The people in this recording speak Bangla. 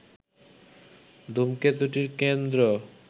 ধূমকেতুটির কেন্দ্র